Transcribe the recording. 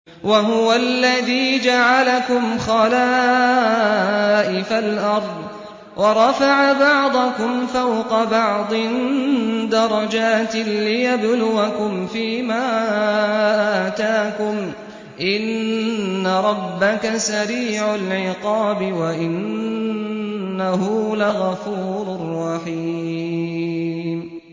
وَهُوَ الَّذِي جَعَلَكُمْ خَلَائِفَ الْأَرْضِ وَرَفَعَ بَعْضَكُمْ فَوْقَ بَعْضٍ دَرَجَاتٍ لِّيَبْلُوَكُمْ فِي مَا آتَاكُمْ ۗ إِنَّ رَبَّكَ سَرِيعُ الْعِقَابِ وَإِنَّهُ لَغَفُورٌ رَّحِيمٌ